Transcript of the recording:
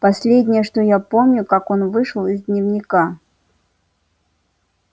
последнее что я помню как он вышел из дневника